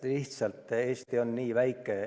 Lihtsalt, Eesti on nii väike.